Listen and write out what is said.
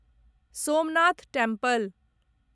Somnath temple